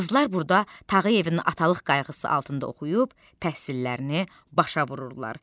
Qızlar burda Tağıyevin atalıq qayğısı altında oxuyub, təhsillərini başa vururdular.